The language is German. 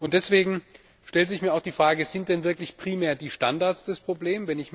Deswegen stellt sich mir auch die Frage Sind denn wirklich primär die Standards das Problem?